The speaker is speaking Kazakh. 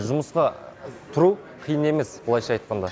жұмысқа тұру қиын емес былайша айтқанда